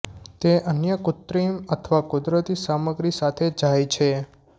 તે અન્ય કૃત્રિમ અથવા કુદરતી સામગ્રી સાથે જાય છે